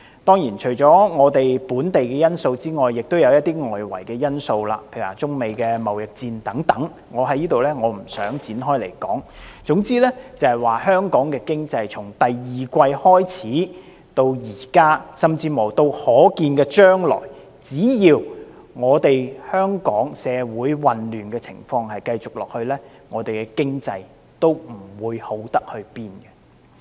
當然，除了本地因素之外，也有一些外圍因素，例如中美貿易戰等，我在此不作詳述，總之香港經濟從第二季開始至今，甚至乎到可見的將來，只要香港社會的混亂情況繼續下去，我們的經濟也不會好到哪裏。